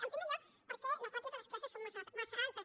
en primer lloc perquè les ràtios de les classes són massa altes